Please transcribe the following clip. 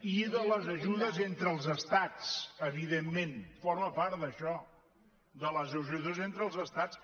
i de les ajudes entre els estats evidentment forma part d’això de les ajudes entre els estats